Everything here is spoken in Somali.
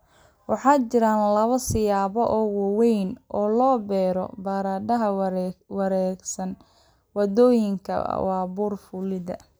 Waxaa jira laba siyaabood oo waaweyn oo loo beero baradhada wareegsan. Waddooyinkan waa buur fuulid